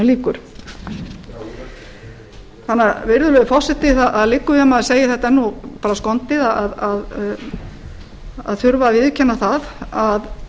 virðulegi forseti það liggur við að maður segi þetta nú bara skondið að þurfa að viðurkenna það að